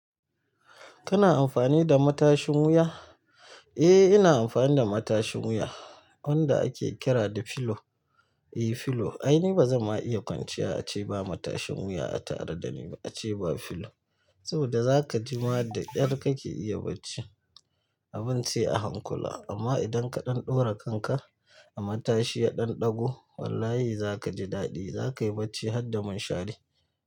Kana amfani da matashin wuya? Eh ina amfani da matashin wuya wanda ake kira da filo. Eh filo. Ai ni bazan ma iya kwanciya ace ba matashin wuya a tare da ni ba ace ba filo. Saboda za kaji ma da ƙyar kake iya bacci abin sai a hankula. Amma idan ka ɗan ɗora kanka a matashi ya ɗan ɗago, wallahi za kaji daɗi. Za kayi barci har da mun shari.